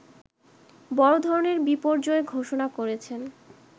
বড়ধরনের বিপর্যয় ঘোষণা করেছেন